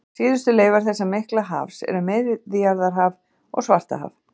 Síðustu leifar þessa mikla hafs eru Miðjarðarhaf og Svartahaf.